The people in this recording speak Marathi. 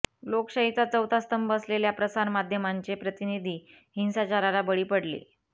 लोकशाहीचा चौथा स्तंभ असलेल्या प्रसारमाध्यमांचे प्रतिनिधी हिंसाचाराला बळी पडले